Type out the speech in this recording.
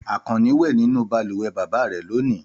Àkànní wẹ nínú balùwẹ̀ bàbá rẹ̀ lónìí.